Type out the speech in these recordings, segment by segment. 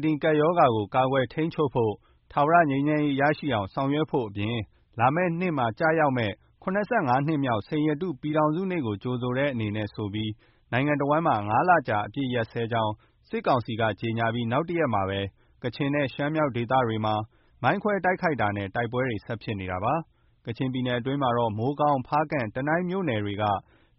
COVID-19 ကပ်ရောဂါကို ကာကွယ်ထိန်းချုပ်ဖို့၊ ထာဝရငြိမ်းချမ်းရေး ရှိအောင်ဆောင်ရွက်ဖို့အပြင် လာမယ့်နှစ်မှာကျရောက် မယ့် ၇၅ နှစ်မြောက် စိန်ရတုပြည်ထောင်စုနေ့ကို ကြိုဆိုတဲ့အနေနဲ့ဆိုပြီး နိုင်ငံနဲ့တဝန်းမှာ ၅ လကြာ အပစ်ရပ်ကြောင်း စစ်ကောင်စီက ကြေညာပြီး နောက်တရက်မှာပဲ ကချင်နဲ့ ရှမ်းမြောက်ဒေသတွေမှာ မိုင်းခွဲတိုက်ခိုက်တာနဲ့ တိုက်ပွဲတွေ ဆက်ဖြစ်နေတာပါ။ ကချင်ပြည်နယ်အတွင်းမှာတော့ မိုးကောင်း၊ ဖားကန့်၊ တနိုင်းမြို့နယ်က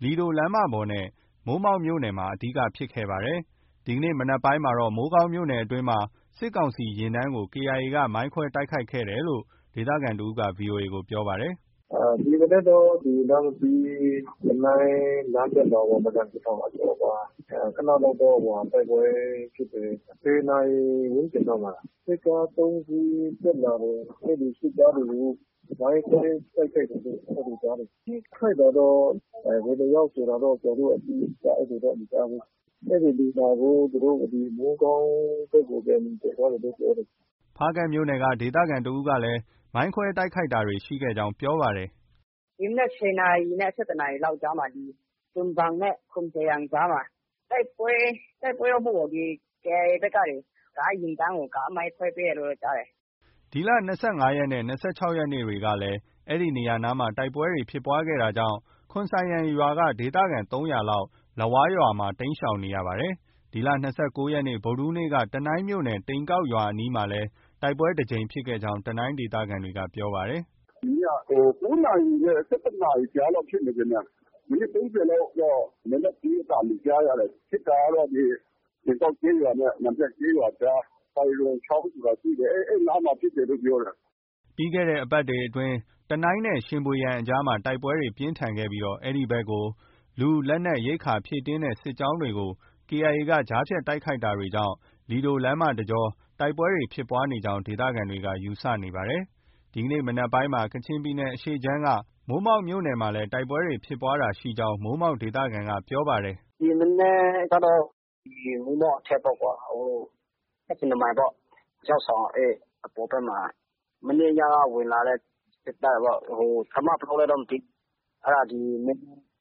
လီဒိုလမ်းမပေါ်နဲ့ မိုးမောက်မြို့နယ်မှာ အဓိက ဖြစ်ခဲ့ပါတယ်။ ဒီကနေ့ မနက်ပိုင်းက မိုးကောင်းမြို့နယ်အတွင်းမှာ စစ်ကောင်စီယာဉ်တန်းကို KIA က မိုင်းခွဲတိုက်ခိုက်ခဲ့တယ်လို့ ဒေသခံတဦးက VOA ကို ပြောပါတယ်။ “ဒီမနက်တော့ ဒီ နမ္မတီး-တနိုင်းလမ်းဘက်မှာပေါ့။ မရန်ကထောင် အကျော်မှာ ခနလောက်တော့ တိုက်ပွဲဖြစ်တယ်။ ၁၀ နာရီဝန်းကျင်လောက်မှာ၊ စစ်ကား ၃ စီးတက်လာတယ်။ အဲဒီစစ်ကားတွေကို မိုင်းခွဲတိုက်ခိုက်တယ်လို့ အဲလိုကြားတယ်။ ထိခိုက်တာတော့ ဘယ်နှစ်ယောက်ဆိုတာတော့ ကျနော်တို့ အတိအကျ အဲလိုမကြားဘူး။ အဲဒီလူနာကို မိုးကောင်းဘက်ကို သယ်သွားတယ်လို့ ပြောတယ်။” ဖားကန့်မြို့နယ်က ဒေသခံတဦးကလည်း မိုင်းခွဲတိုက်ခိုက်တာရှိခဲ့ကြောင်း ပြောပါတယ်။ “ဒီမနက် ၁၀ နာရီနဲ့ ၁၁ နာရီလောက်ကြားမှာ ဒီ ဒွမ်ဘန်နဲ့ ခွန်ဆိုင်ယန်ကြားမှာ တိုက်ပွဲ၊ တိုက်ပွဲတော့မဟုတ်ပါဘူး။ ဒီ KIA ဘက်ကနေ ကားယာဉ်တန်းကို ကားမိုင်းခွဲပေးတယ်ကြားတယ်။” ဒီလ ၂၅ ရက်နဲ့ ၂၆ ရက်နေ့တွေကလည်း အဲဒီနေရာနားမှာ တိုက်ပွဲဖြစ်ပွားခဲ့တာကြောင့် ခွန်ဆိုင်ယန်ရွာက ဒေသခံ ၃၀၀ လောက် လဝါးရွာမှာ တိမ်းရှောင်နေရပါတယ်။ ဒီလ ၂၉ ရက်နေ့ ဗုဒ္ဓဟူးနေ့က တနိုင်းမြို့နယ် တိန်ကောက်ရွာအနီးမှာတိုက်ပွဲတကြိမ်ဖြစ်ခဲ့ကြောင်း တနိုင်းဒေသခံက ပြောပါတယ်။ “မနေ့က ၉ နာရီနဲ့ ၁၁ နာရီကြားလောက် ဖြစ်မယ်ထင်တယ်။ မိနစ် ၃၀ လောက်တော့ လက်နက်ကြီးအသံတွေ ကြားရတယ်။ ဖြစ်တာကတော့ ဒီ တိန်ကောက်ကျေးရွာနဲ့ မန်ဖြတ်ကျေးရွာအကြား စိုင်ရွန်ချောင်းဆိုတာရှိတယ်။ အဲဒီနားမှာဖြစ်တယ်လို့ ပြောတယ်။” ပြီးခဲ့တဲ့အပတ်တွေအတွင်းက တနိုင်းနဲ့ ရှင်ဗွေယန်အကြားမှာ တိုက်ပွဲပြင်းထန်ခဲ့ပြီး အဲဒီဘက်ကို လူ၊ လက်နက်၊ ရိက္ခာ ဖြည့်တင်းတဲ့ စစ်ကြောင်းတွေကို KIA က ကြားဖြတ်တိုက်ခိုက်တာကြောင့် လီဒိုလမ်းတကြောမှာ တိုက်ပွဲတွေဖြစ်နေကြောင်း ဒေသခံတွေက ယူဆနေပါတယ်။ ဒီကနေ့မနက်ပိုင်းမှာ ကချင်ပြည်နယ်အရှေ့ခြမ်းက မိုးမောက်မြို့နယ်မှာလည်း တိုက်ပွဲဖြစ်ပွားတာရှိကြောင်း မိုးမောက်ဒေသခံက ပြောပါတယ်။ “ဒီမနက်ကတော့ မိုးမောက်အထက်ပေါ့။ ၁၇ မိုင်ပေါ့။ ကျောက်ဆောင်အပေါ်ဘက်မှာ မနေ့ညက ဝင်လာတဲ့ စစ်တပ်ပေါ့။ တပ်မ ဘယ်လောက်လဲတော့ မသိဘူး။ အဲဒါ ဒီ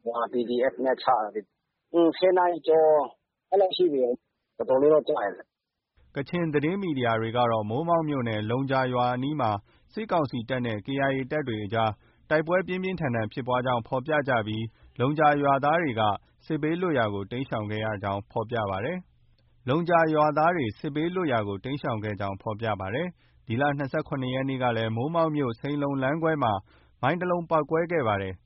မနက် PDF နဲ့ ချတာလေ။ ၁၀ နာရီကျော် အဲလောက်ရှိပြီ။ တော်တော်လေးတော့ ကျတယ်တဲ့။” ကချင်သတင်းမီဒီယာတွေကတော့ မိုးမောက်မြို့နယ် လုံဂျာရွာအနီးမှာ စစ်ကောင်စီတပ်နဲ့ KIA အကြား တိုက်ပွဲ ပြင်းပြင်းထန်ထန်ဖြစ်ကြောင်းဖော်ပြကြပြီး လုံဂျာရွာသားတွေ စစ်ဘေးလွတ်ရာကို တိမ်းရှောင်ခဲ့ကြောင်း ဖော်ပြပါတယ်။ ဒီလ ၂၇ ရက်နေ့ကလည်း မိုးမောက်မြို့ စိန်လုံလမ်းခွဲမှာ မိုင်းတလုံးပေါက်ကွဲခဲ့ပါသေးတယ်။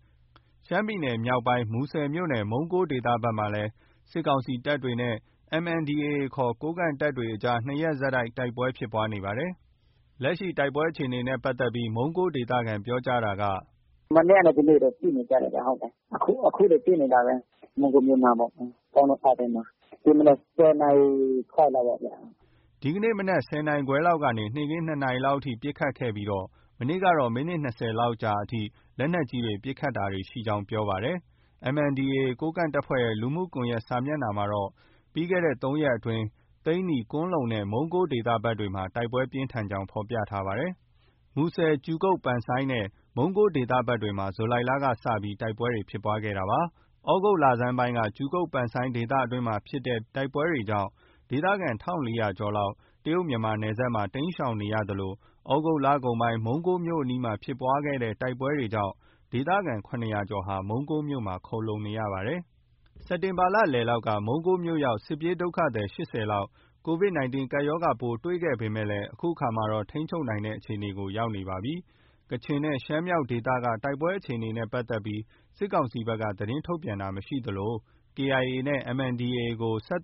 ရှမ်းပြည်နယ်မြောက်ပိုင်း မူဆယ်မြို့နယ်၊ မုံးကိုးဒေသဘက်မှာလည်း စစ်ကောင်စီတပ်နဲ့ MNDAA ခေါ် ကိုးကန့်တပ်အကြားမှာ နှစ်ရက်ဆက် တိုက်ပွဲဖြစ်နေပါတယ်။ လက်ရှိ တိုက်ပွဲအခြေအနေနဲ့ပတ်သက်ပြီး မုံးကိုးဒေသခံ ပြောပြတာက- “မနေ့ကနဲ့ ဒီနေ့လည်း ပစ်နေကြတယ်ဗျ။ အခုလည်း ပစ်နေတာပဲ။ မုံးကိုးမြို့နားပေါ့။ ကောင်းလုံအောက်ထဲမှာ။ ဒီမနက် ၁၀ နာရီခွဲလောက်ပေါ့ဗျာ။” ဒီနေ့မနက် ၁၀ နာရီခွဲလောက်ကနေ နေ့ခင်း ၂ နာရီလောက်အထိ ပစ်ခတ်နေဆဲရှိကြောင်းနဲ့ မနေ့ကတော့ မိနစ် ၂၀ လောက်ကြာထိ လက်နက်ကြီးပစ်ခတ်တာတွေရှိကြောင်း ပြောပါတယ်။ MNDAA ကိုးကန့်တပ်ဖွဲ့ရဲ့ လူမှုကွန်ယက်စာမျက်နှာမှာတော့ ပြီးခဲ့တဲ့ ၃ ရက်အတွင်း သိန္နီ၊ ကွမ်းလုံနဲ့ မုံးကိုးဒေသဘက်တွေမှာ တိုက်ပွဲပြင်းထန်ကြောင်း ဖော်ပြထားပါတယ်။ မူဆယ်မြို့နယ်၊ ကြူကုတ် (ပန်ဆိုင်း) နဲ့ မုံးကိုးဒေသဘက်မှာ ဇူလိုင်လကစတင်ပြီး တိုက်ပွဲတွေ ဖြစ်ပွားခဲ့တာပါ။ သြဂုတ်လဆန်းပိုင်းကကြူကုတ် (ပန်ဆိုင်း) ဒေသအတွင်းဖြစ်တဲ့တိုက်ပွဲကြောင့် ဒေသခံ ၁,၄၀၀ ကျော်လောက် တရုတ်-မြန်မာနယ်စပ်မှာ တိမ်းရှောင်နေရသလို သြဂုတ်လကုန်ပိုင်း မုံးကိုးမြို့အနီး ဖြစ်ပွားတဲ့ တိုက်ပွဲကြောင့် ဒေသခံ ၇၀၀ ကျော်ဟာ မုံးကိုးမြို့မှာ ခိုလှုံနေရပါတယ်။ စက်တင်ဘာလလည်လောက်က မုံးကိုးမြို့ရောက် စစ်ပြေးဒုက္ခသည် ၈၀ လောက် COVID-19 ရောဂါပိုး တွေ့ခဲ့ပေမဲ့ အခုအခါမှာ ထိန်းချုပ်နိုင်တဲ့အခြေအနေကို ရောက်နေပြီဖြစ်ပါတယ်။ ကချင်နဲ့ ရှမ်းမြောက်ဒေသက တိုက်ပွဲအခြေအနေနဲ့ပတ်သက်ပြီး စစ်ကောင်စီဘက်က သတင်းထုတ်ပြန်တာ မရှိသလို KIA နဲ့ MNDAA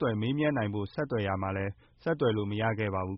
ကို မေးမြန်းနိုင်ဖို့ ဆက်သွယ်ရာမှာလည်း ဆက်သွယ်လို့ မရခဲ့ပါဘူး